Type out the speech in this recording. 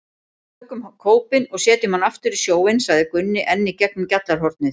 Við tökum kópinn og setjum hann aftur í sjóinn, sagði Gunni enn í gegnum gjallarhornið.